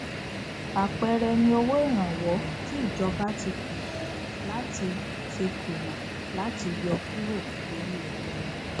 àpẹẹrẹ ni owó ìrànwọ tí ìjọba ti kùnà láti ti kùnà láti yọ kúrò lóri epo